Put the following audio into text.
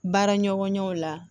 Baara ɲɔgɔnya la